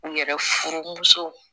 U yɛrɛ furumusow